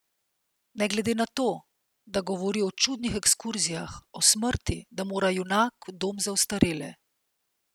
Ne glede na to, da govori o čudnih ekskurzijah, o smrti, da mora junak v dom za ostarele.